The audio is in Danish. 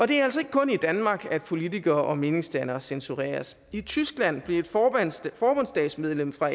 det er altså ikke kun i danmark at politikere og meningsdannere censureres i tyskland blev et forbundsdagsmedlem fra